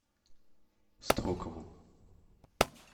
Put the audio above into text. строкову